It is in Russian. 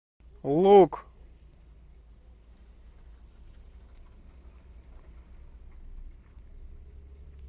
лук